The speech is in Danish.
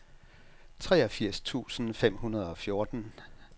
treogfirs tusind fem hundrede og fjorten